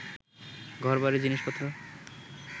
ঘর-বাড়ি, জিনিস-পত্র